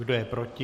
Kdo je proti?